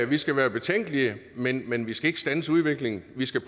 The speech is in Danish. vi skal være betænkelige men men vi skal ikke standse udviklingen vi skal